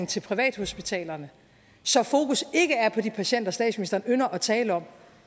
til privathospitalerne så fokus ikke er på de patienter statsministeren ynder at tale om